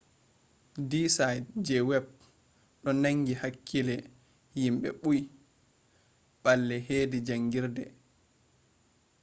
di site je web do nangi hakkile himɓe bui balle hedi jangirde